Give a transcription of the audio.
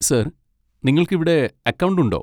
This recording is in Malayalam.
സർ, നിങ്ങൾക്ക് ഇവിടെ അക്കൗണ്ട് ഉണ്ടോ?